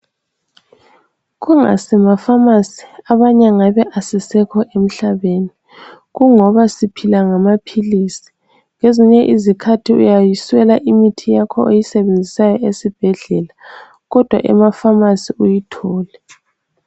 KusimaPhamarcy abanye ngabe asisekho emhlabeni kungoba siphila ngamaphilisi kwezinye izikhathi uyayiswela imithi oyisebenzisayo esibhedlela kodwa emaphamarcy uyithole.